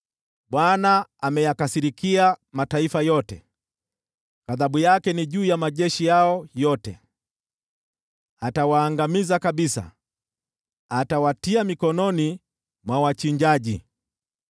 Bwana ameyakasirikia mataifa yote; ghadhabu yake ni juu ya majeshi yao yote. Atawaangamiza kabisa, atawatia mikononi mwa wachinjaji.